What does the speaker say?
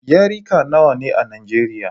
Yarika nawa ne a Nijeriya?